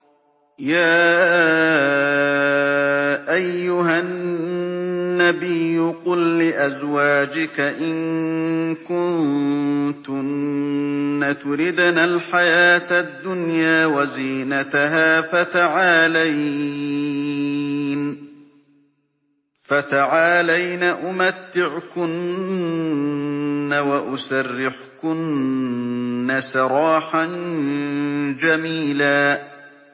يَا أَيُّهَا النَّبِيُّ قُل لِّأَزْوَاجِكَ إِن كُنتُنَّ تُرِدْنَ الْحَيَاةَ الدُّنْيَا وَزِينَتَهَا فَتَعَالَيْنَ أُمَتِّعْكُنَّ وَأُسَرِّحْكُنَّ سَرَاحًا جَمِيلًا